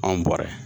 Anw bɔra